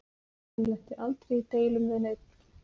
Hann lenti aldrei í deilum við neinn.